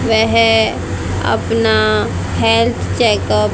वेह अपना health checkup --